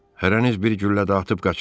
Hərəniz bir güllə də atıb qaçın.